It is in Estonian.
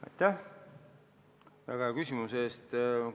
Aitäh väga hea küsimuse eest!